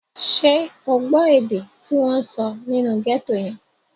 Ṣé o gbọ́ èdè tí wọ́n sọ nínú gẹ́tò yẹn?